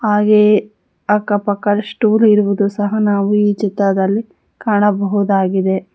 ಹಾಗೆಯೇ ಅಕ್ಕ ಪಕ್ಕ ಸ್ಟೂಲು ಇರುವುದು ಸಹ ನಾವು ಈ ಚಿತ್ರದಲ್ಲಿ ಕಾಣಬಹುದಾಗಿದೆ.